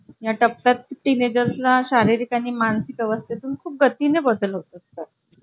दीड हजार रुपये भेटावे त्याचे असं वाटतंय म्हणजे अपेक्षित किंमत तेवढीच आहे